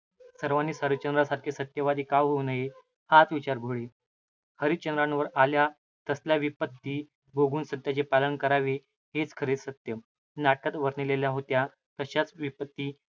सर्वानीच हरिश्चंद्रासारखे सत्यवादी का होऊ नये? हाच विचार घोळे. हरिश्चंद्रावर आल्या तसल्या विपत्ती भोगून सत्याचे पालन करावे हेच खरे सत्य. नाटकात वर्णिलेल्या होत्या तशाच विपत्ती